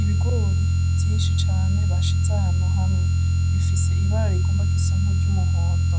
Ibigori vyinshi cane bashize ahantu hamwe bifise ibara rigomba gusa nkiryo umuhondo